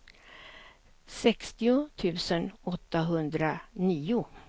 sextio tusen åttahundranio